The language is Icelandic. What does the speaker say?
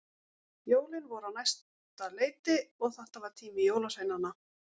Jólin voru á næsta leiti og þetta var tími jólasveinanna.